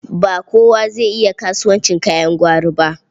Ba kowa zai iya kasuwancin kayan gwari ba.